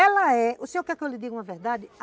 Ela é, o senhor quer que eu lhe diga uma verdade?